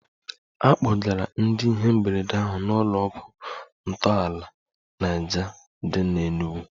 A kpọgara ndị ihe mberede ahụ n'ụlọ ọgwụ ntọala Niger dị n'Enugwu